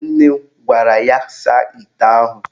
Nne m gwara ya saa ite ahụ.